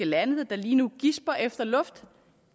lande der lige nu gisper efter luft